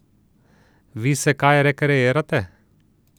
Vi se kaj rekreirate?